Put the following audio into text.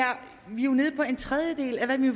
jo nede på en tredjedel af hvad vi